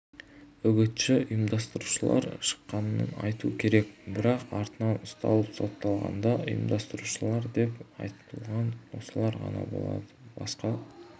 үгітші-ұйымдастырушылар шыққанын айту керек бірақ артынан ұсталып сотталғанда ұйымдастырушылар деп айыпталған осылар ғана болды басқа